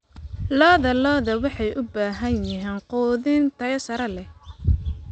Lo'da lo'da waxay u baahan yihiin quudin tayo sare leh.